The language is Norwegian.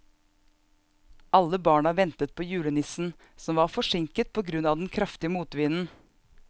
Alle barna ventet på julenissen, som var forsinket på grunn av den kraftige motvinden.